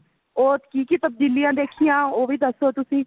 or ਕੀ ਕੀ ਤਬਦੀਲੀਆਂ ਦੇਖੀਆਂ ਉਹ ਵੀ ਦੱਸੋ ਤੁਸੀਂ